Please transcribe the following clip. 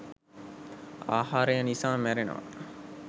ආහාරය නිසා මැරෙනවා.